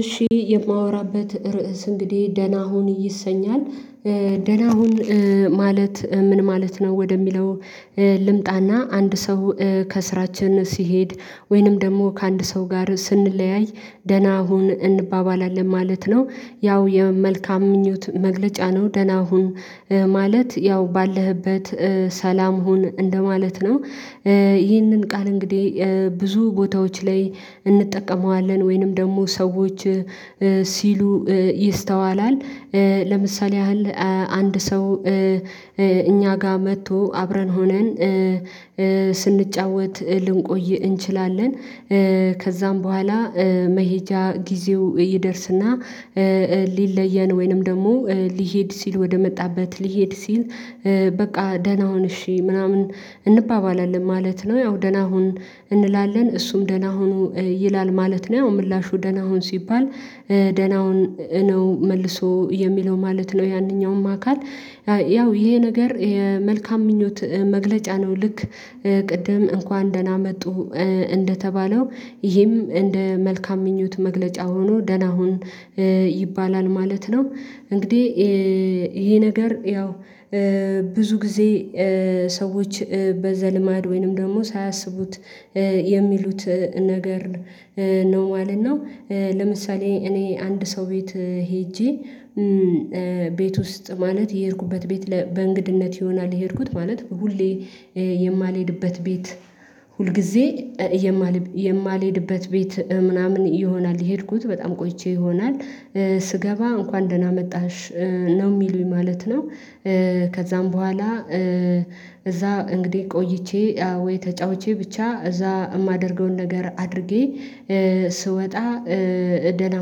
እሺ የማወራበት ርዕስ እንግዲህ ደህና ሁን ይሰኛል ደህና ሁን ማለት ምን ማለት ነው ወደሚለው? ልምጣና አንድ ሰው ከስራችን ሲሄድ ወይንም ደግሞ ከአንድ ሰው ጋር ስንለያይ ደህና ሁን እንባባላለን ማለት ነው። ያው የመልካም ምኞት መግለጫ ነው ደህና ሁን ማለት ያው ባለህበት ሰላም ሁን እንደማለት ነው። ይህንን ቃል እንግዲህ ብዙ ቦታዎች ላይ እንጠቀመዋለን ወይንም ደግሞ ሰዎች ሲሉ ይስተዋላል። ለምሳሌ ያህል አንድ ሰው እኛ ጋር መጥቶ አብረን ሆነን ስንጫወት ልንቆይ እንችላለን። ከዛም በኋላ መሄጃ ጊዜው ይደርስና ሊለየን ወይንም ደግሞ ሊሄድ ሲል ወደመጣበት ሊሄድ ሲል። በቃ ደህና ሁን እሺ ምናምን እንባባላለን ማለት ነው። ያው ደህና ሁን እንላለን እሱም ደህና ሁኑ ይላል ማለት ነው ያው ምላሹ ደህና ሁን ሲባል። ደህና ሁን ነው መልሶ የሚለው ማለት ነው። ያንኛውም አካል ያው ይሄ ነገር መልካም ምኞት መግለጫ ነው። ልክ ቅድም እንኳን ደህና መጡ እንደተባለው ይሄም እንደ መልካም ምኞት መግለጫ ሆኖ ደህና ሁን ይባላል ማለት ነው። እንግዲህ ይሄ ነገር ያው ብዙ ጊዜ ሰዎች በዘልማድ ወይንም ደግሞ ሳያስቡት የሚሉት ነገር ነው ማለት ነው። ለምሳሌ እኔ አንድ ሰው ቤት ሄጄ ቤት ውስጥ ማለት የሄድኩበት ቤት በእንግድነት ይሆናል የሄድኩት ማለት ሁሌ የማልሄድበት ቤት ሁልጊዜ የማልሄድበት ቤት ምናምን ይሆናል የሄድኩት በጣም ቆይቼ ይሆናል። ስገባ እንኳን ደህና መጣሽ ነው የሚሉኝ ማለት ነው። ከዛም በኋላ እዛ እንግዲህ ቆይቼ አዎ ወይ ተጫውቼ ብቻ እዛ የማደርገውን ነገር አድርጌ ስወጣ ደህና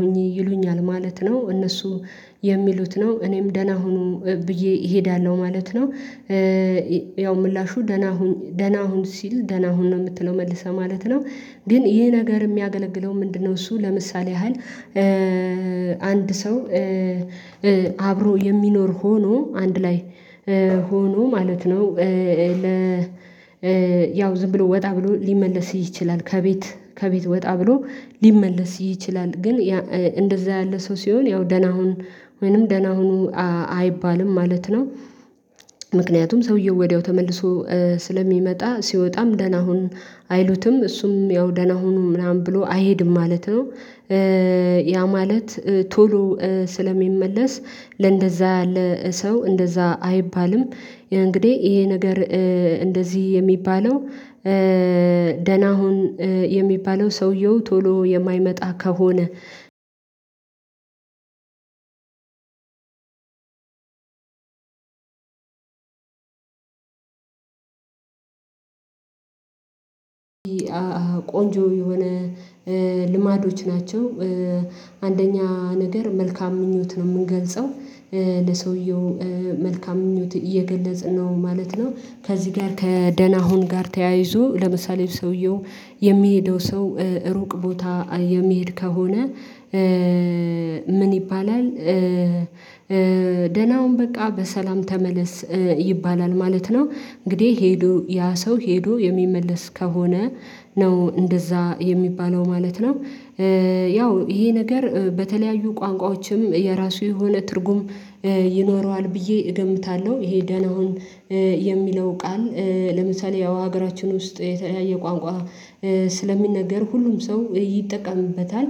ሁኚ ይሉኛል ማለት ነው። እነሱ የሚሉት ነው እኔም ደህና ሁኑ ብዬ እሄዳለሁ ማለት ነው። ያው ምላሹ ደህና ሁኑ ደህና አሁን ሲልህ ደህና አሁን ነው የምትለው መልሰህ ማለት ነው። ግን ይሄ ነገር የሚያገለግለው ምንድነው? እሱ ለምሳሌ ያህል አንድ ሰው አብሮ የሚኖር ሆኖ አንድ ላይ ሆኖ ማለት ነው። ያው ዝም ብሎ ወጣ ብሎ ሊመለስ ይችላል ከቤት ከቤት ወጣ ብሎ ሊመለስ ይችላል ግን ያ እንደዛ ያለ ሰው ሲሆን ያው ደህና ሁን ወይንም ደህና ሁኑ አይባልም ማለት ነው። ምክንያቱም ሰውየው ወዲያው ተመልሶ ስለሚመጣ ሲወጣም ደህና ሁን አይሉትም እሱም ያው ደህና ሁኑ ምናምን ብሎ አይሄድም ማለት ነው። ያ ማለት ቶሎ ስለሚመለስ ለእንደዛ ለሰው እንደዛ አይባልም። እንግዲህ ይሄ ነገር እንደዚህ የሚባለው ደህና ሁን የሚባለው ሰውየው ቶሎ የማይመጣ ከሆነ ቆንጆ የሆነ ልማዶች ናቸው። አንደኛ ነገር መልካም ምኞት ነው የምንገልጸው ለሰውየው መልካም ምኞት እየገለጽን ነው ማለት ነው። ከዚህ ጋር ከደህና አሁን ጋር ተያይዞ ለምሳሌ ሰውየው የሚሄደው ሰው ሩቅ ቦታ የሚሄድ ከሆነ። ምን ይባላል? ደህና ሁን በቃ በሰላም ተመለስ ይባላል ማለት ነው። እንግዲህ ሄዶ ያ ሰው ሄዶ የሚመለስ ከሆነ ነው እንደዛ የሚባለው ማለት ነው። ያው ይሄ ነገር በተለያዩ ቋንቋዎችም የራሱ የሆነ ትርጉም ይኖረዋል ብዬ እገምታለሁ። ይሄ ደህና ሁን የሚለው ቃል ለምሳሌ ያው ሀገራችን ውስጥ የተለያየ ቋንቋ ስለሚነገር ሁሉም ሰው ይጠቀምበታል።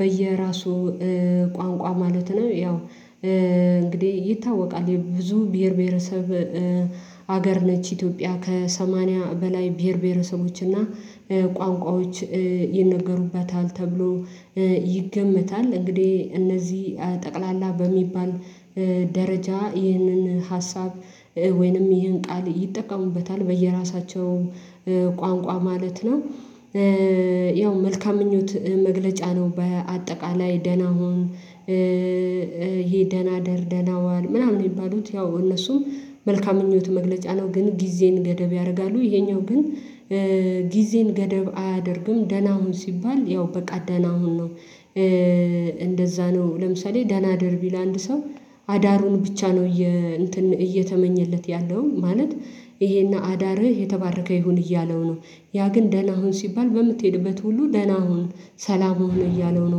በየራሱ ቋንቋ ማለት ነው ያው እንግዲህ ይታወቃል የብዙ ብሄር ብሄረሰብ ሀገር ነች ኢትዮጵያ ከሰማንያ በላይ ብሄር ብሄረሰቦች እና ቋንቋዎች ይነገሩበታል ተብሎ ይገመታል። እንግዲህ እነዚህ ጠቅላላ በሚባል ደረጃ ይህንን ሀሳብ ወይንም ይህን ቃል ይጠቀሙበታል በየራሳቸው ቋንቋ ማለት ነው። ያው መልካም ምኞት መግለጫ ነው በአጠቃላይ ደህና ሁን። ይሄ ደህና እደር ደህና ዋል ምናምን የሚባሉት ያው እነሱም መልካም ምኞት መግለጫ ነው። ግን ጊዜን ገደብ ያደርጋሉ ይሄኛው ግን ጊዜም ገደብ አያደርግም ደህና ሁን ሲባል ያው በቃ ደህና ሁን ነው። እንደዛ ነው ለምሳሌ ደህና እደር ቢልህ ለአንድ ሰው አዳሩን ብቻ ነው እየ እንትን እየተመኘለት ያለው ማለት ይሄና አዳርህ የተባረከ ይሁን እያለው ነው። ያ ግን ደህና ሁን ሲባል በምትሄድበት ሁሉ ደህና ሁን ሰላም ሆኖ እያለው ነው